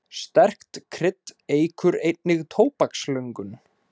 Sterkt krydd eykur einnig tóbakslöngun.